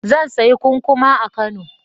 Zan sayi kukkuma a Kano.